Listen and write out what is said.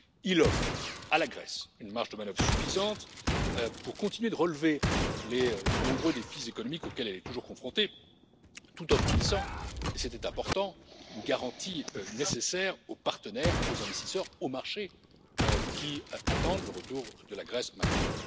Il offre à la Grèce une marge de manœuvre suffisante pour continuer de relever les nombreux défis économiques auxquels elle est toujours confrontée, tout en fournissant et c'était important une garantie nécessaire aux partenaires, aux investisseurs et aux marchés, qui attendent le retour de la Grèce maintenant.